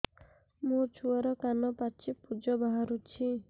ମୋ ଛୁଆର କାନ ପାଚି ପୁଜ ବାହାରୁଛି